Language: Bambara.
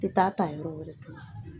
Tɛ taa ta yɔrɔ wɛrɛ tugun